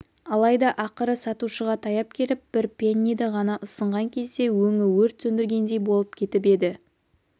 алайда ақыры сатушыға таяп келіп бір пенниді ған ұсынған кезде өңі өрт сөндіргендей болып кетіп еді